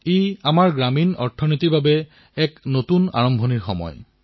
ই আমাৰ গ্ৰামীণ অৰ্থব্যৱস্থাৰ বাবে এক নতুন আৰম্ভণিৰ সময়